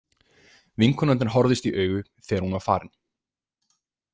Vinkonurnar horfðust í augu þegar hún var farin.